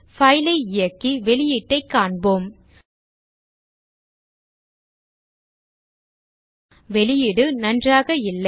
file ஐ இயக்கி வெளியீட்டைக் காண்போம் வெளியீடு நன்றாக இல்லை